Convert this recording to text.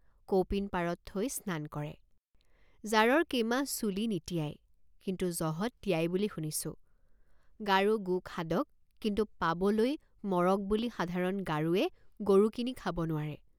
কৌপিন পাৰত থৈ স্নান কৰে। কৌপিন পাৰত থৈ স্নান কৰে। জাৰৰ কেমাহ চুলি নিতিয়ায় কিন্তু জহত তিয়ায় বুলি শুনিছোঁগাৰো গোখাদক কিন্তু পাবলৈ মৰগ বুলি সাধাৰণ গাৰোৱে গৰু কিনি খাব নোৱাৰে।